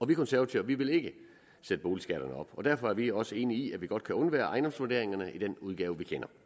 vi konservative vil ikke sætte boligskatterne op og derfor er vi også enige i at vi godt kan undvære ejendomsvurderingerne i den udgave